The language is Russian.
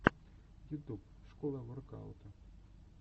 ютуб школа воркаута